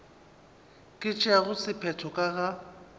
ka tšeago sephetho ka ga